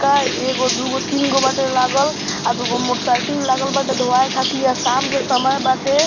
कार एगो दुगो तीन गो बाटे लागल आर दूगो मोटरसाइकिल लागल बाटे धोवाये खातिर | यह शाम के समय बाटे |